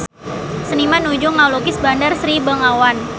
Seniman nuju ngalukis Bandar Sri Begawan